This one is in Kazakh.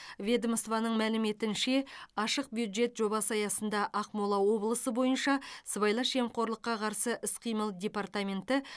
ведомствоның мәліметінше ашық бюджет жобасы аясында ақмола облысы бойынша сыбайлас жемқорлыққа қарсы іс қимыл департаменті